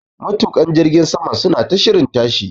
Matuƙan jirgin saman suna ta shirin tashi.